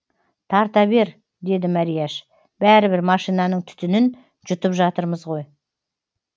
тарта бер деді мәрияш бәрібір машинаның түтінін жұтып жатырмыз ғой